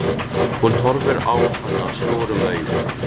Hún horfir á hana stórum augum.